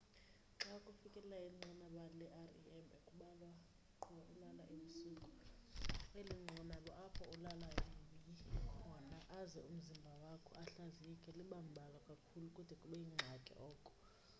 xa ufikelela inqanaba le-rem kambalwa qho ulala ebusuku eli nqanaba apho ulala yoyi khona aze umzimba wakho ahlaziyeke liba mbalwa kakhulu kude kube yingxaki oko